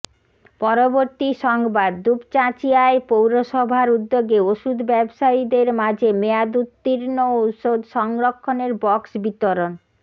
পরবর্তী সংবাদ দুপচাঁচিয়ায় পৌরসভার উদ্যেগে ওষুধ ব্যবসায়ীদের মাঝে মেয়াদ উত্তীর্ণ ওষুধ সংরক্ষনের বক্স বিতরণ